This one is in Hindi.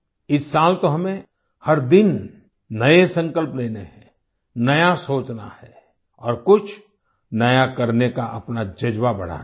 इस साल तो हमें हर दिन नए संकल्प लेने हैं नया सोचना है और कुछ नया करने का अपना जज्बा बढ़ाना है